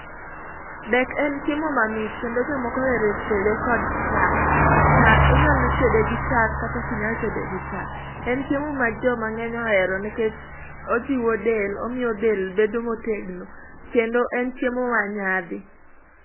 Dek en chiemo mamit kendo jomoko ohero tede kod chak. Inyalo tede gi chak kata ok i nyal tede gi chak. En chiemo ma joma ng'eny ohero nikech ojiwo del, omiyo del bedo motegno kendo en chiemo manyadhi.